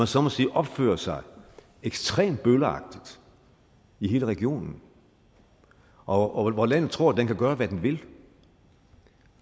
så må sige opfører sig ekstremt bølleagtigt i hele regionen og at landet tror det kan gøre hvad det vil